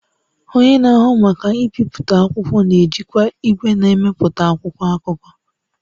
Onye na-ahụ maka mbipụta akwụkwọ na-ejikwa igwe na-emepụta akwụkwọ akụkọ